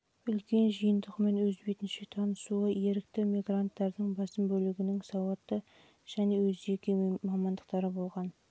үлкен жиынтығымен өз бетінше танысуы ерікті мигранттардың басым бөлігінің сауатты және өз жеке мамандықтары болғанын